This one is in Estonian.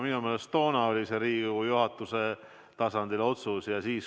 Minu meelest oli see ka toona Riigikogu juhatuse tasandi otsus.